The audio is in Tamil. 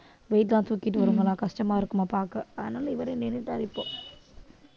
weight லாம் சுத்திட்டு ரொம்பலாம் கஷ்டமா இருக்குமா பார்க்க அதனால இவரை நின்னுட்டாரு இப்போ